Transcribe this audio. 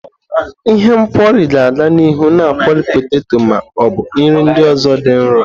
Ihe nkwori ga-aga n'ihu na akwori peteto ma ọ bụ nri ndị ọzọ dị nro.